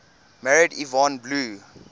married yvonne blue